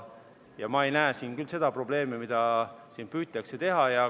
Ma ei näe siin küll seda probleemi, mida püütakse näha.